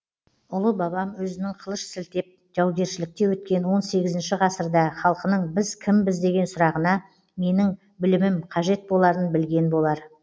ұлы бабам өзінің қылыш сілтеп жаугершілікте өткен он сегізінші ғасырда халқының біз кімбіз деген сұрағына менің білімім қажет боларын білген болар